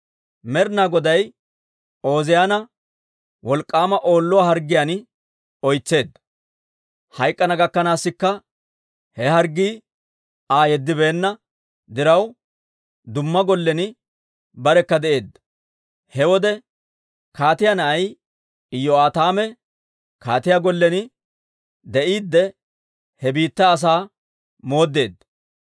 Med'ina Goday Ooziyaana wolk'k'aama Oolluwaa harggiyaan oytseedda; hayk'k'ana gakkanaasikka he harggii Aa yeddibeenna diraw, dumma gollen barekka de'eedda. He wode kaatiyaa na'ay Iyo'aataame kaatiyaa gollen de'iide, he biittaa asaa mooddeedda.